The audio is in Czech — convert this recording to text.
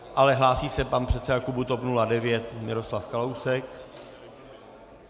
Ale hlásí se pan předseda klubu TOP 09 Miroslav Kalousek.